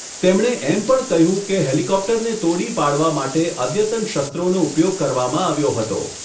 તેમણે એમ પણ કહ્યું કે હેલિકોપ્ટરને તોડી પાડવા માટે અદ્યતન શસ્ત્રોનો ઉપયોગ કરવામાં આવ્યો હતો.